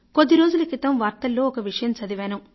కొద్దిరోజుల క్రితం వార్తల్లో ఒక విషయం చదివాను